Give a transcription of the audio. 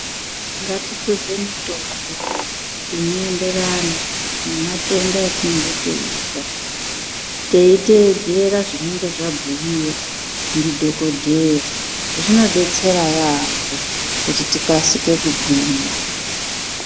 Ngatipuze mitombo inoenderana nematenda etinenge teizwa, teitedzera zvinenge zvabhuyiwa ndidhogodheya, zvinodetsera yaamho kuti tikasike kugwinya.